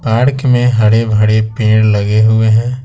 Park में हरे भरे पेड़ लगे हुए हैं।